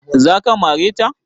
Za ka mare ta?